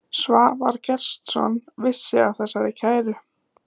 Svavar Gestsson vissi af þessari kæru.